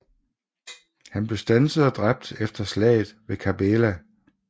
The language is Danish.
Han blev standset og dræbt efter slaget ved Kerbela